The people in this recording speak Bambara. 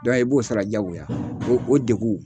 e b'o sara jagoya, o o degun.